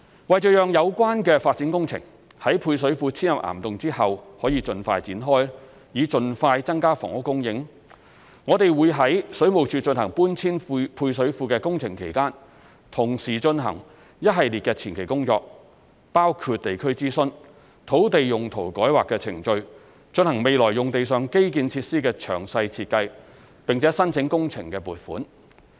為讓有關發展工程在配水庫遷入岩洞後可以盡快展開，以盡快增加房屋供應，我們會於水務署進行搬遷配水庫的工程期間，同時進行一系列的前期工作，包括地區諮詢、土地用途改劃程序、進行未來用地上基建設施的詳細設計，並申請工程撥款。